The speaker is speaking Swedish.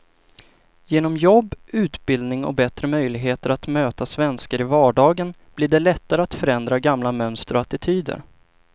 Genom jobb, utbildning och bättre möjligheter att möta svenskar i vardagen blir det lättare att förändra gamla mönster och attityder.